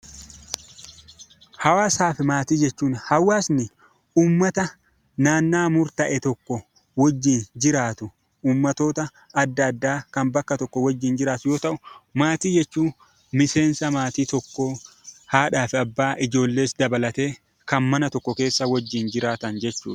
Hawaasaa fi maatii jechuun hawaasni uummata naannoo murtaa'e tokko wajjin jiraatu uummattoota adda addaa kan bakka tokko wajjin jiraatu yoo ta'u, maatii jechuun miseensa maatii tokkoo haadhaa fi abbaa, ijoollees dabalatee kan mana tokko keessa waliin jiraatan jechuudha.